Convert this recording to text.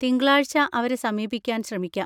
തിങ്കളാഴ്ച അവരെ സമീപിക്കാൻ ശ്രമിക്കാം.